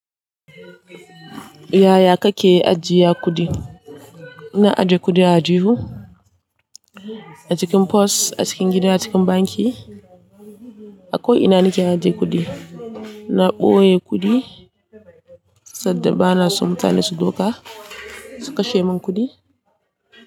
Yaya kake ajiya kuɗi? Na ajiye kuɗi a ajihu, a cikin pos, a cikin gida, cikin banki. A ko ina nake ajiye kudi. Na ɓoye kudi saboda bana so mutane su doka su kashe min kudi.